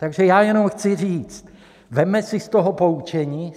Takže já jenom chci říct, vezměme si z toho poučení.